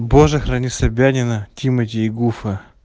боже храни собянина тимати и гуфа